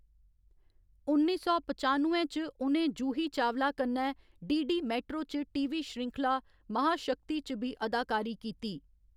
उन्नी सौ पचानुए च उ'नें जूही चावला कन्नै डीडी मेट्रो च टीवी श्रृंखला महाशक्ति च बी अदाकारी कीती।